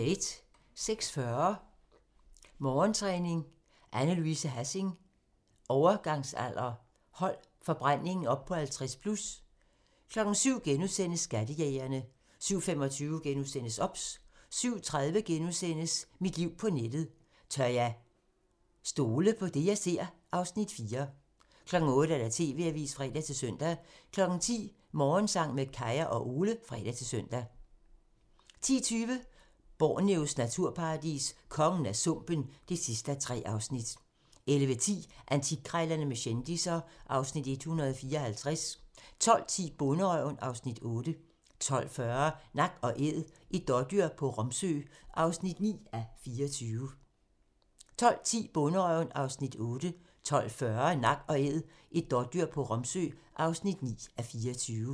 06:40: Morgentræning: Anne Louise Hassing – overgangsalder / hold forbrændingen oppe 50+ 07:00: Skattejægerne * 07:25: OBS * 07:30: Mit liv på nettet: Tør jeg stole på det, jeg ser? (Afs. 4)* 08:00: TV-avisen (fre-søn) 10:00: Morgensang med Kaya og Ole (fre-søn) 10:20: Borneos naturparadis – kongen af sumpen (3:3) 11:10: Antikkrejlerne med kendisser (Afs. 154) 12:10: Bonderøven (Afs. 8) 12:40: Nak & æd - et dådyr på Romsø (9:24)